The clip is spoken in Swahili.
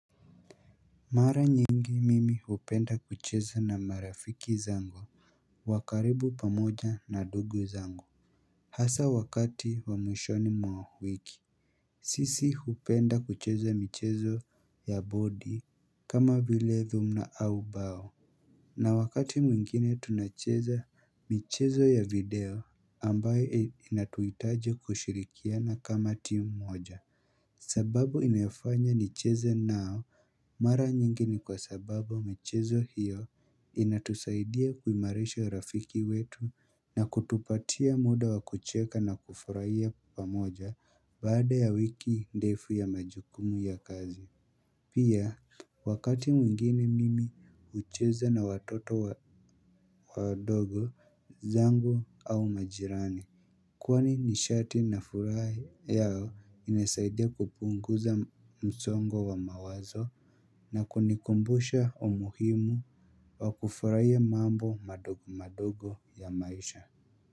Mara nyingi mimi hupenda kucheza na marafiki zango wa karibu pamoja na dugu zangu Hasa wakati wa mwishoni mwa wiki sisi hupenda kucheza michezo ya body kama vilevyo mna ubao na wakati mwingine tunacheza mchezo ya video ambayo inatuhitaji kushirikiana kama team moja sababu inayofanya nicheze nao mara nyingi ni kwa sababu michezo hiyo inatusaidia kuimarisha rafiki wetu na kutupatia muda wa kucheka na kufurahia pamoja baada ya wiki ndefu ya majukumu ya kazi Pia wakati mwingine mimi hucheza na watoto wa dogo zangu au majirani Kwani nisharti nafurahia inasaidia kupunguza msongo wa mawazo na kunikumbusha umuhimu wa kufurahia mambo madogo madogo ya maisha.